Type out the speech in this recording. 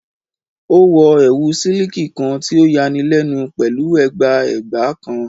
O wọ ẹwu siliki kan ti o yanilenu pẹlu ẹgba ẹgba kan